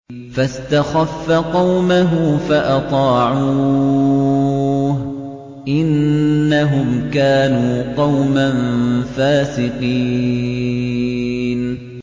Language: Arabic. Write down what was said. فَاسْتَخَفَّ قَوْمَهُ فَأَطَاعُوهُ ۚ إِنَّهُمْ كَانُوا قَوْمًا فَاسِقِينَ